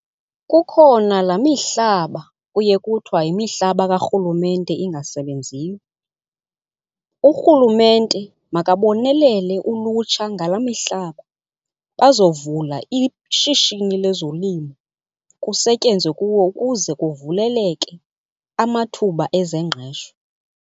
Kukhona laa mihlaba kuye kuthiwa yimihlaba kaRhulumente ingasebenziyo. URhulumente makabonelele ulutsha ngalaa mihlaba bazovula ishishini lezolimo kusetyenzwe kuwo ukuze kuvuleleke amathuba ezengqesho.